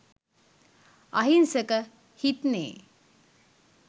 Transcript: අහිංසක හිත්නෙ